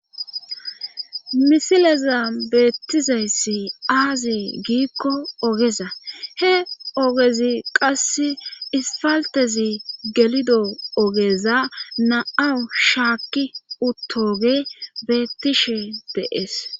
misileza beettizayssi aazi giikko ogeza he ogezi qass isfaltezi gelido ogeza na7awu shaakki uttoge beettishe de'ees